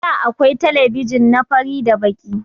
àda akwai telebijin na fari da Baki.